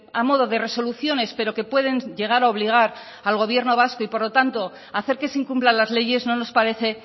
a modo de resoluciones pero que pueden llegar a obligar al gobierno vasco y por lo tanto hacer que se incumplan las leyes no nos parece